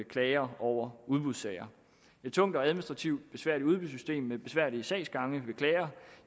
klager over udbudssager et tungt og administrativt besværligt udbudssystem med besværlige sagsgange